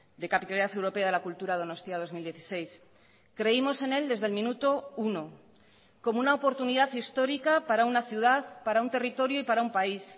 de capitalidad europea de la cultura donostia dos mil dieciséis creímos en él desde el minuto uno como una oportunidad histórica para una ciudad para un territorio y para un país